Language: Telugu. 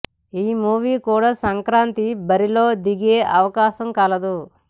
ఈ మూవీ కూడా సంక్రాతి బరిలో దిగే అవకాశం కలదు